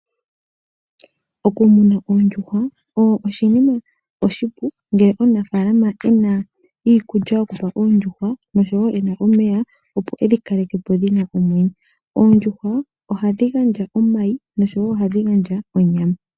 Okumuna oondjuhwa oshinima oshipu ngele omunafaalama e na iikulya yokupa oondjuhwa, nosho wo e na omeya, opo e dhi kaleke po dhi na omwenyo. Oondjuhwa ohadhi gandja omayi, nosho wo ohadhi gandja onyama.